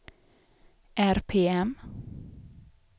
RPM